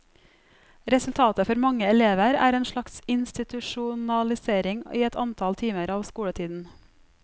Resultatet for mange elever er en slags institusjonalisering i et antall timer av skoletiden.